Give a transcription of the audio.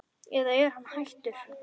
eða er hann hættur?